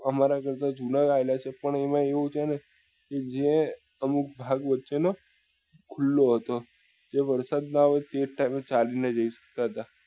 અમારા જુના આવેલા છે પણ એમાં એવું છે ને કે જે અમુક ભાગ વચે નો ખુલ્લો હતો તે વરસાદ માં અમે તે time એ અમે ચાલી ને જઈ શકતા હતા